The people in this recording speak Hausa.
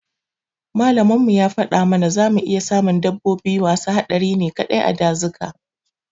Makamin mu ya fada mata zamu iya samun dabbobi masu haɗari ne kaɗai a dazuka